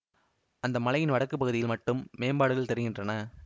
அந்த மலையின் வடக்கு பகுதியில் மட்டும் மேம்பாடுகள் தெரிகின்றன